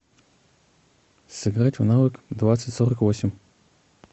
сыграть в навык двадцать сорок восемь